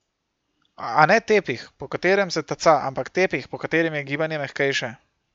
A ne tepih, po katerem se taca, ampak tepih, po katerem je gibanje mehkejše.